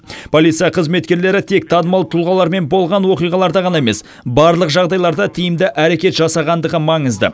полиция қызметкерлері тек танымал тұлғалармен болған оқиғаларда ғана емес барлық жағдайда тиімді әрекет жасағандығы маңызды